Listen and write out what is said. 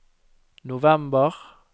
november